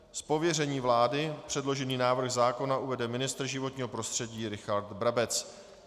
Z pověření vlády předložený návrh zákona uvede ministr životního prostředí Richard Brabec.